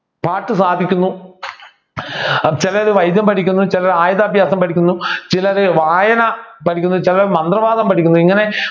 പാട്ടു സാധിക്കുന്നു ചിലര് വൈദ്യം പഠിക്കുന്നു ചിലർ ആയുധ അഭ്യാസം പഠിക്കുന്നു ചിലരു വായന പഠിക്കുന്നു ചിലർ മന്ത്രവാദം പഠിക്കുന്നു ഇങ്ങനെ